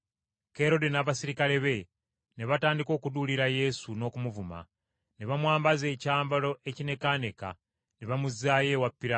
Kerode n’abaserikale be ne batandika okuduulira Yesu, n’okumuvuma. Ne bamwambaza ekyambalo ekinekaaneka, ne bamuzzaayo ewa Piraato.